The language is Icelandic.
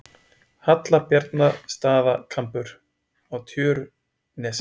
Hallbjarnarstaðakambur á Tjörnesi.